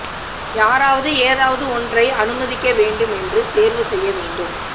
யாராவது ஏதாவது ஒன்றை அனுமதிக்க வேண்டும் என்று தேர்வு செய்ய வேண்டும்